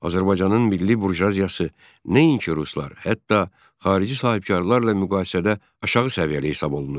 Azərbaycanın milli burjuaziyası nəinki ruslar, hətta xarici sahibkarlarla müqayisədə aşağı səviyyəli hesab olunurdu.